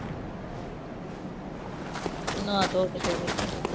ਨਾਹ ਧੋ ਕੇ ਚੱਲੇ ਗਏ।